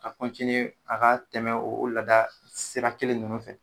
Ka kɔntiniye ka ka tɛmɛ o laada sira kelen ninnu fɛ